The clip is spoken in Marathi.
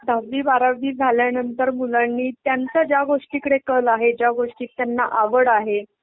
दहावी, बारावी झाल्यानंतर मुलांनी त्यांचा ज्या गोष्टीकडे कल आहे, ज्या गोष्टीत त्यांना आवड आहे